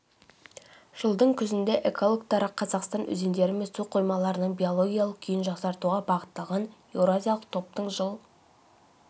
жылдың күзінде экологтары қазақстан өзендері мен су қоймаларының биологиялық күйін жақсартуға бағытталған еуразиялық топтың жыл